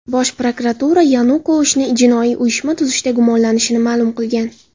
Bosh prokuratura Yanukovichni jinoiy uyushma tuzishda gumonlanishini ma’lum qilgan.